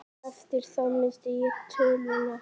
Eftir það missti ég töluna.